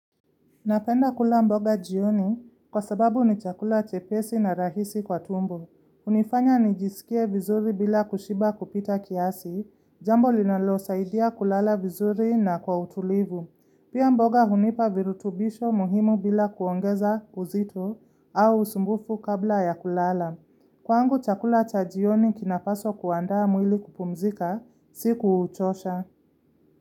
Napenda kula mboga jioni kwa sababu ni chakula chepesi na rahisi kwa tumbo. hUnifanya nijisikie vizuri bila kushiba kupita kiasi, jambo linalosaidia kulala vizuri na kwa utulivu. Pia mboga hunipa virutubisho muhimu bila kuongeza uzito au usumbufu kabla ya kulala. Kwangu chakula cha jioni kinapaswa kuandaa mwili kupumzika, siku uchosha.